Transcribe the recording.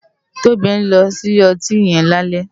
Tobi n lò so ile òtín yen lálè